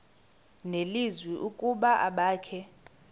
nelizwi ukuba abakhe